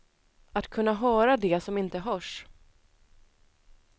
Att kunna höra det som inte hörs.